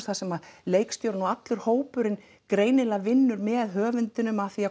þar sem leikstjórinn og allur hópurinn greinilega vinnur með höfundinum að því að